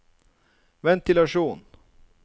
ventilasjon